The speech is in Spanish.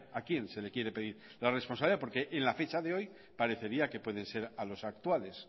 a quién se le quiere pedir la responsabilidad porque a fecha de hoy parecería que pueden ser a los actuales